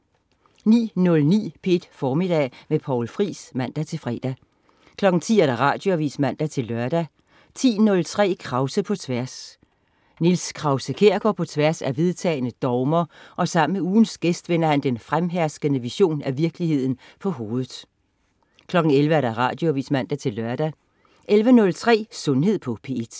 09.09 P1 Formiddag med Poul Friis (man-fre) 10.00 Radioavis (man-lør) 10.03 Krause på Tværs. Niels Krause-Kjær går på tværs af vedtagne dogmer og sammen med ugens gæst vender han den fremherskende version af virkeligheden på hovedet 11.00 Radioavis (man-lør) 11.03 Sundhed på P1